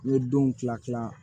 N ye denw kila kila